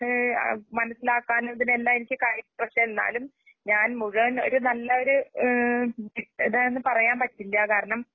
ഏഹ് മനസ്സിലാക്കാഞ്ഞതിനെല്ലാംയെനിക്ക് കാര്യപ്രെക്ഷെഎന്നാലും ഞാൻമുഖേൺഒരുനല്ലഒരൂ ഏഹ് വ്യക്തതായെന്ന് പറയാൻപറ്റില്ലാ. കാരണം